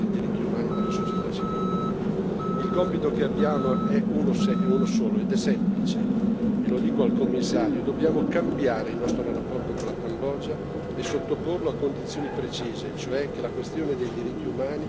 Il compito che abbiamo è uno solo, ed è semplice e lo dico al Commissario dobbiamo cambiare il nostro rapporto con la Cambogia e sottoporlo a condizioni precise, e cioè che le questioni dei diritti umani siano effettivamente affrontate.